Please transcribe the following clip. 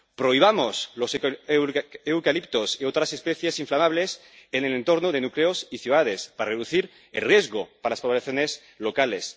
Prohibamos los eucaliptos y otras especies inflamables en el entorno de núcleos y ciudades para reducir el riesgo para las poblaciones locales.